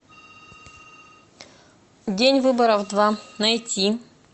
день выборов два найти